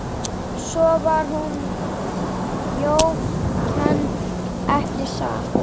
Svo var hún þjófkennd, ekki satt?